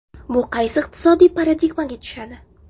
Bu qaysi iqtisodiy paradigmaga tushadi?